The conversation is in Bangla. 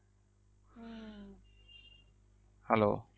Hello